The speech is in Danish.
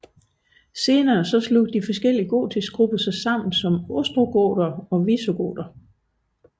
Senere slog de forskellige gotiske grupper sig sammen som ostrogoter og visigoter